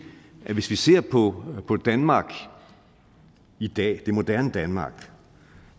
at hvis vi ser på på danmark i dag det moderne danmark